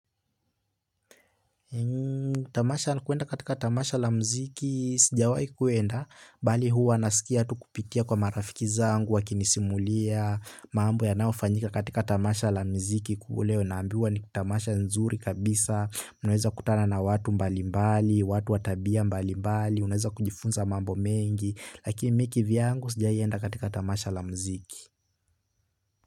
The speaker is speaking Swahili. Tamasha, kwenda katika tamasha la mziki, sijawahi kuenda, bali huwa nasikia tu kupitia kwa marafiki zangu wakinisimulia, mambo yanaofanyika katika tamasha la mziki kubwa leo. Naambiwa ni tamasha nzuri kabisa, unaweza kutana na watu mbali mbali, watu wa tabia mbali mbali, unaweza kujifunza mambo mengi. Lakini mimi kivyangu sijawahi enda katika tamasha la mziki.